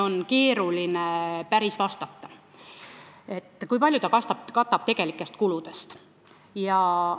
On päris keeruline vastata, kui palju tegelikest kuludest ta katab.